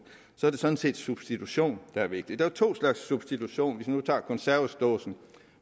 sådan set substitution der er vigtigt der er to slags substitution hvis vi nu tager konservesdåsen